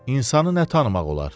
İnsanı nə tanımaq olar?